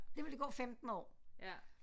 Det ville der gå 15 år